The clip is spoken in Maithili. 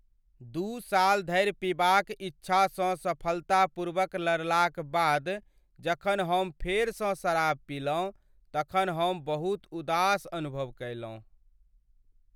दू साल धरि पीबाक इच्छासँ सफलतापूर्वक लड़लाक बाद जखन हम फेरसँ शराब पीलहुँ तखन हम बहुत उदास अनुभव कयलहुँ ।